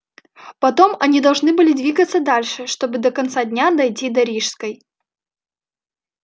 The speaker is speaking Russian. потом они должны были двигаться дальше чтобы до конца дня дойти до рижской